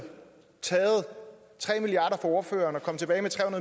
taget tre milliard ordføreren og kom tilbage med tre